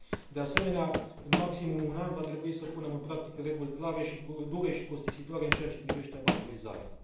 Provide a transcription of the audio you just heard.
De asemenea, în maximum un an va trebui să punem în practică reguli clare, dure și costisitoare în ceea ce privește abatorizarea.